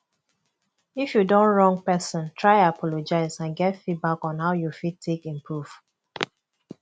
if you don wrong person try apologize and get feedback on how you fit take improve